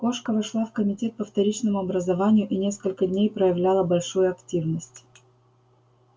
кошка вошла в комитет по вторичному образованию и несколько дней проявляла большую активность